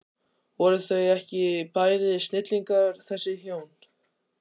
Voru þau ekki bæði snillingar þessi hjón?